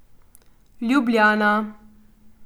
Ljubljana.